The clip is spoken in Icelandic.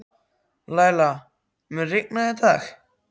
Læla, mun rigna í dag?